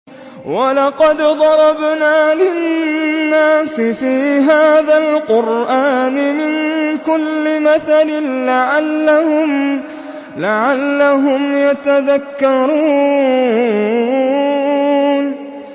وَلَقَدْ ضَرَبْنَا لِلنَّاسِ فِي هَٰذَا الْقُرْآنِ مِن كُلِّ مَثَلٍ لَّعَلَّهُمْ يَتَذَكَّرُونَ